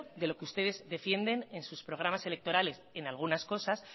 de los que ustedes defienden en sus programas electorales en algunas cosas